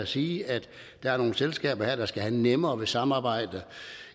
sige at der er nogle selskaber der skal have nemmere indgå i samarbejder